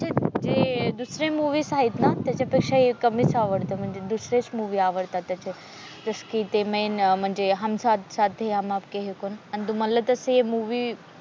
म्हणजे दुसरी मूव्हीस आहेत ना त्याच्यापेक्षा हे कमीच आवडत म्हणजे दुसरे मूवी आवडतात त्याचे जस कि ती म्हणजे हम साथ साथ है हम आपके है कौन? आणि तुम्हाला तसे मूवी